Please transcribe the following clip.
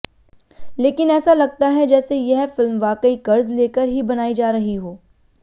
लेकिन ऐसा लगता है जैसे यह फिल्म वाकई कर्ज़ लेकर ही बनाई जा रही हो